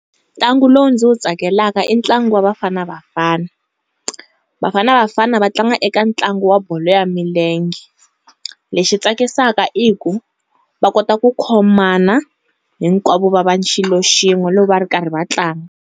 Ntlangu lowu ndzi wu tsakelaka i ntlangu wa Baafana Bafana, Bafana Bafana va tlanga eka ntlangu wa bolo ya milenge. Lexi tsakisaka i ku, va kota ku khumana, hinkwavo va va xilo xin'we loko va ri karhi va tlanga.